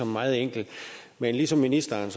meget enkelt men ligesom ministeren